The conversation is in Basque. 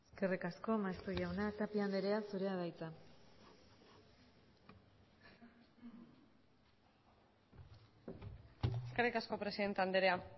eskerrik asko maeztu jauna tapia andrea zurea da hitza eskerrik asko presidente andrea